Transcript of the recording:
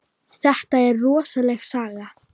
Þetta er rosaleg saga.